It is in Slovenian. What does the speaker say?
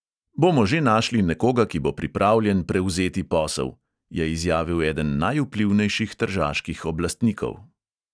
"Bomo že našli nekoga, ki bo pripravljen prevzeti posel," je izjavil eden najvplivnejših tržaških oblastnikov.